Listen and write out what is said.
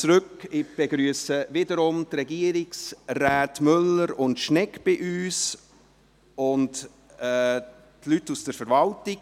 Ich begrüsse die Regierungsräte Müller und Schnegg bei uns sowie die Leute aus der Verwaltung.